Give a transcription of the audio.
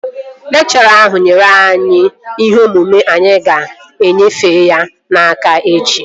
Lekchọra ahụ nyere anyị ihe omume anyị ga-enyefe ya n'aka echi